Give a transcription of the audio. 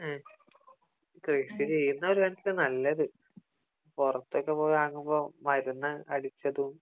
മ്ഹ് കൃഷി ചെയ്യുന്നതാ ഒരു കണക്കിന് നല്ലത് പുറത്തൊക്കെ പോയി വാങ്ങുമ്പോ മരുന്ന് അടിച്ചതും